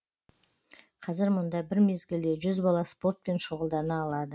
қазір мұнда бір мезгілде жүз бала спортпен шұғылдана алады